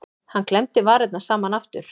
Hann klemmdi varirnar saman aftur.